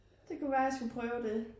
Det kunne være jeg skulle prøve det